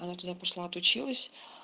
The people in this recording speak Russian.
она туда пошла от училась